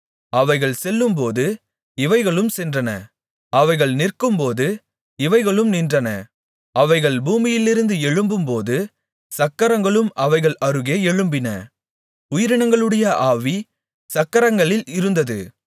அவைகள் செல்லும்போது இவைகளும் சென்றன அவைகள் நிற்கும்போது இவைகளும் நின்றன அவைகள் பூமியிலிருந்து எழும்பும்போது சக்கரங்களும் அவைகள் அருகே எழும்பின உயிரினங்களுடைய ஆவி சக்கரங்களில் இருந்தது